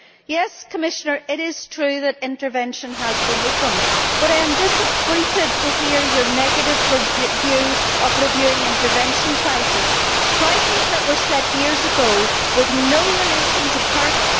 Yes, Commissioner, it is true that intervention has been opened, but I am disappointed to hear your negative view of reviewing intervention prices prices that were set years ago with no relation to current...